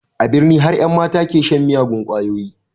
A birni har ƴan mata ke shan miyagun ƙwayoyi